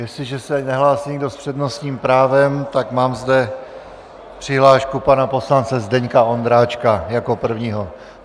Jestliže se nehlásí nikdo s přednostním právem, tak mám zde přihlášku pana poslance Zdeňka Ondráčka jako prvního.